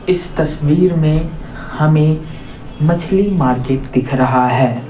इस तस्वीर में हमें मछली मार्केट दिख रहा है।